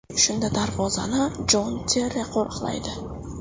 Shunda darvozani Jon Terri qo‘riqlaydi.